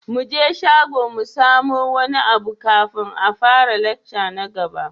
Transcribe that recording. Muje shago mu samu wani abu kafin a fara lecture na gaba.